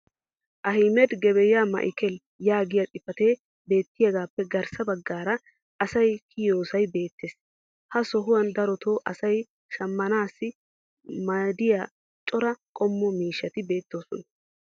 "ahimed gebeya ma'ikel" yaagiya xifatee beetiyaagappe garssa bagaara asay kiyiyoosay beetees. ha sohuwan darotoo asay shammanaassi maadiya cora qommo miishshati beetoosona.